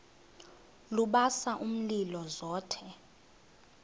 lubasa umlilo zothe